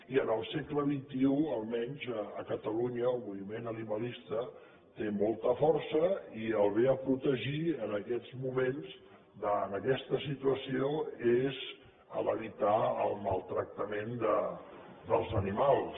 i en el segle xxi almenys a catalunya el moviment animalista té molta força i el bé a protegir en aquests moments en aquesta situació és evitar el maltractament dels animals